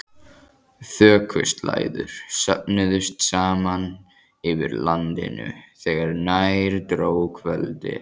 Þokuslæður söfnuðust saman yfir landinu þegar nær dró kvöldi.